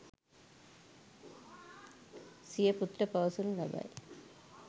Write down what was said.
සිය පුතුට පවසනු ලබයි.